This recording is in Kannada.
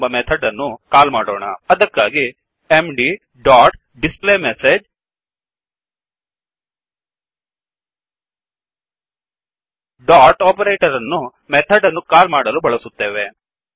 ಎಂಬ ಮೆಥಡ್ ಅನ್ನು ಕಾಲ್ ಮಾಡೋಣ ಅದಕ್ಕಾಗಿ ಎಂಡಿ ಡೊಟ್ displayMessageಡಿಸ್ಪ್ಲೇ ಮೆಸೇಜ್ ಡೊಟ್ ಓಪರೆಟರ್ ಅನ್ನು ಮೆಥಡ್ ಅನ್ನು ಕಾಲ್ ಮಾಡಲು ಬಳಸುತ್ತೇವೆ